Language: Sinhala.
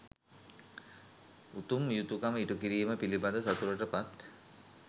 උතුම් යුතුකම ඉටුකිරීම පිළිබඳ සතුටට පත්